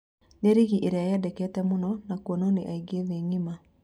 Nĩ-rigi ĩria yendekete mũno na kuonwo nĩ aĩngi thĩ ng'ima.